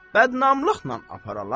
Bədnamlıqla aparalar?